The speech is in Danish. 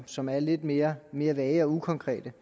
som er lidt mere mere vage og ukonkrete